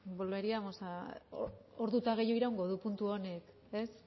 volveríamos ordu eta gehiago iraungo du puntu honek ez